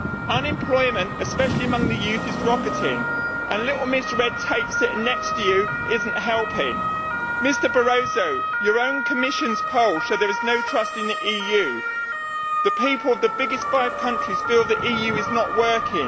Unemployment, especially among youth, is rocketing and little Miss Red Tape sitting next to you is not helping. Mr Barroso, your own Commission's poll shows there is no trust in the EU. The people of the biggest five countries feel the EU is not working.